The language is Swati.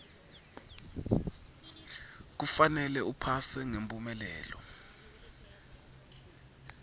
kufanele uphase ngemphumelelo